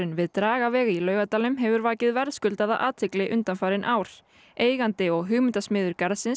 við Dragaveg í Laugardal hefur vakið verðskuldaða athygli undanfarin ár eigandi og hugmyndasmiður garðsins